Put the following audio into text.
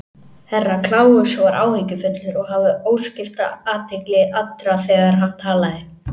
Herra Kláus var áhyggjufullur og hafði óskipta athygli allra þegar hann talaði.